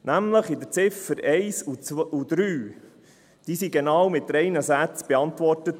Die Ziffern 1 und 3 wurden nämlich mit genau drei Sätzen beantwortet.